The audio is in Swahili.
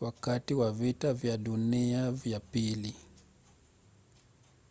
wakati wa vita vya dunia vya ii